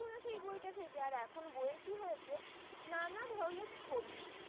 পুরন হম এই বইটা থেকে আর এখন বয়ে কি হয়েছে যে নানা ধরনের ছবি ।